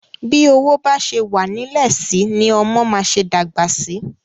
Bi owó ba ṣe wa nilẹ si ni ọmọ ma ṣe dagba sí.